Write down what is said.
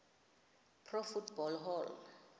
pro football hall